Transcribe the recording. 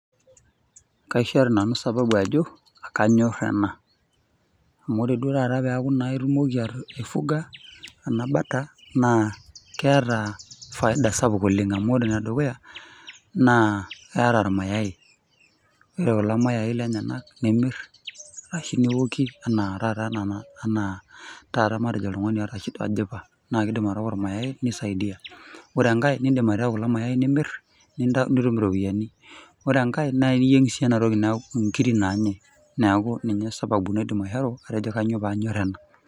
Kaishoru nanu sababu ajo kanyor ena, amu ore naa duo taata pee itumoki aifuga ena bata naa keata faida supuk oleng' amu keata , ene dukuya naa keata irmayai, ore kulo Mayai lenyenak naa imir arashu niokie anaa taa taata anaa taata oltung'ani oata shida anaa ojipa naa keidim atooko ormayai neisaidiaa. Ore enkai naa indi aitayu kulo Mayai nimir , nitum iropiani. Ore enkai naa iyieng' sii iyie ena toki neaku inkiri naanyai, neaku ninye sababu naidim aishoru ajo kainyoo paanyor ena.